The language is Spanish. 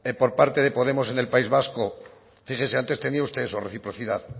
por parte de podemos en el país vasco fíjese antes tenía usted eso reciprocidad